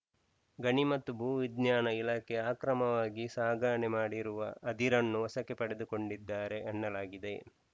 ಗಣಿ ಮತ್ತು ಭೂ ವಿಜ್ಞಾನ ಇಲಾಖೆ ಅಕ್ರಮವಾಗಿ ಸಾಗಾಣೆ ಮಾಡಿರುವ ಅದಿರನ್ನು ವಶಕ್ಕೆ ಪಡೆದುಕೊಂಡಿದ್ದಾರೆ ಎನ್ನಲಾಗಿದೆ